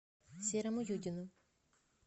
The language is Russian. серому юдину